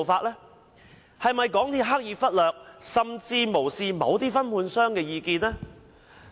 港鐵公司是否刻意忽略甚或無視某些分判商的意見？